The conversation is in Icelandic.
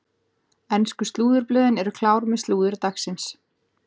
Ensku slúðurblöðin eru klár með slúður dagsins.